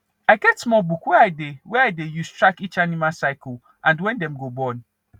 i get small book wey i dey wey i dey use track each animal cycle and when dem go born